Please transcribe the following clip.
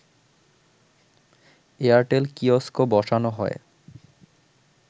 Airtel kiosk বসানো হয়